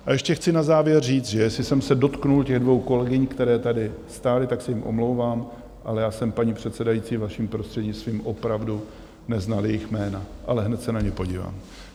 A ještě chci na závěr říct, že jestli jsem se dotkl těch dvou kolegyň, které tady stály, tak se jim omlouvám, ale já jsem, paní předsedající, vaším prostřednictvím, opravdu neznal jejich jména, ale hned se na ně podívám.